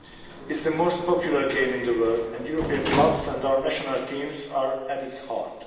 It is the most popular game in the world, and European clubs and our national teams are at its heart.